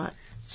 ધન્યવાદ